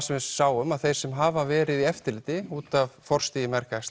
sem við sáum að þeir sem hafa verið í eftirliti út af forstigi